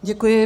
Děkuji.